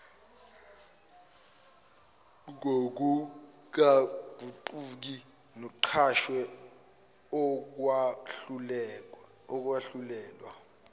ngokungaguquki nexhaswe ukwahlulelwa